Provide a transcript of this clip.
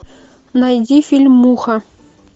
найди фильм муха